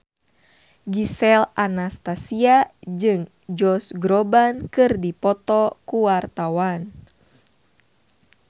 Gisel Anastasia jeung Josh Groban keur dipoto ku wartawan